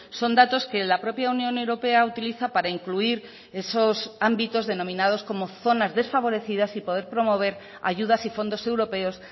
son datos que la propia unión europea utiliza para incluir esos ámbitos denominados como zonas desfavorecidas y poder promover ayudas y fondos europeos